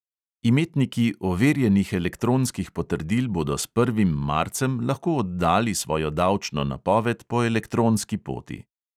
Imetniki overjenih elektronskih potrdil bodo s prvim marcem lahko oddali svojo davčno napoved po elektronski poti.